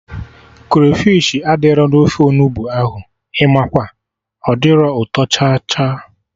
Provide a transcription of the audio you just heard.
Krafish adịrọ na ofe Onugbu ahụ, Imakwa, ọ dirọ ụtọ cha cha